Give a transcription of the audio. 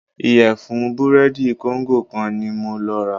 Ìyẹ̀fun búrẹ́dì kóńgò kan ní mo lọ rà.